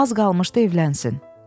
Az qalmışdı evlənsin."